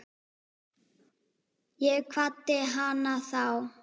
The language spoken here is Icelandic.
Ég kvaddi hana þá.